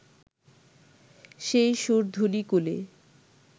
সেই সুরধুনী-কূলে